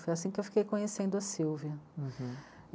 Foi assim que eu fiquei conhecendo a Silvia.